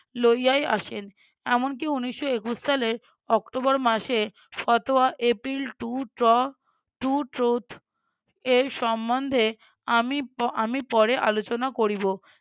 লইয়াই আসেন। এমনকি উনিশশো একুশ সালে october মাসে সতয়া april এর সম্বন্ধে আমি পো~ আমি পরে আলোচনা করিব।